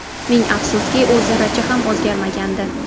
Ming afsuski, u zarracha ham o‘zgarmagandi.